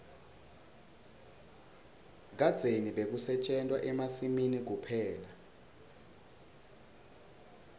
kadzeni bekusetjentwa emasimini kuphela